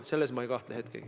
Selles ma ei kahtle hetkegi.